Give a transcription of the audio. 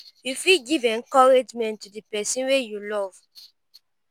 make di pipo wey you love know how grateful you dey for everything wey dem don do